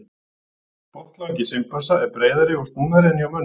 Botnlangi simpansa er breiðari og snúnari en hjá mönnum.